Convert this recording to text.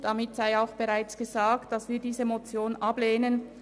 Damit sei auch gesagt, dass wir diese Motion ablehnen.